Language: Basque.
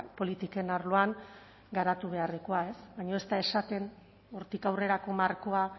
politiken arloan garatu beharrekoa baina ez da esaten hortik aurrerako markoa